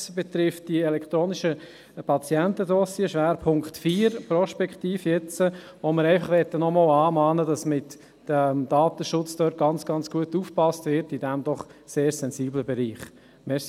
sie betrifft jetzt prospektiv die elektronischen Patientendossiers, Schwerpunkt 4. Dort möchten wir nochmals mahnen, damit mit dem Datenschutz in diesem doch sehr sensiblen Bereich ganz, ganz gut aufgepasst wird.